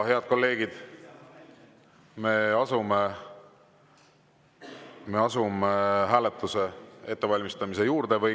Head kolleegid, me asume hääletuse ettevalmistamise juurde.